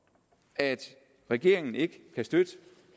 at regeringen ikke kan støtte